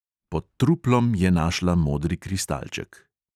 Pod truplom je našla modri kristalček.